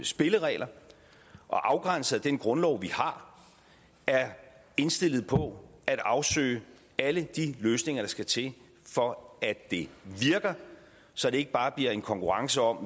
spilleregler og afgrænset af den grundlov vi har er indstillet på at afsøge alle de løsninger der skal til for at det virker så det ikke bare bliver en konkurrence om